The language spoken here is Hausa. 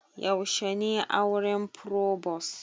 Yaushe ne auren frobos?